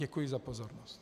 Děkuji za pozornost.